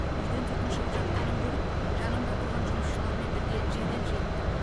үйден түтін шығып жатқанын көріп жанымда тұрған жұмысшылармен бірге жедел жеттім